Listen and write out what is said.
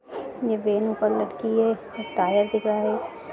ये वैन ऊपर लटकी है और टायर दिख रहा है।